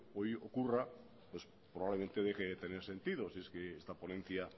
hoy ocurra es probablemente de que hay que tener sentido si es que esta ponencia